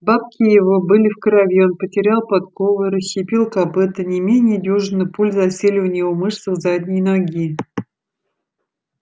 бабки его были в крови он потерял подкову и расщепил копыто не менее дюжины пуль засели у него в мышцах задней ноги